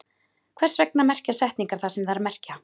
Hvers vegna merkja setningar það sem þær merkja?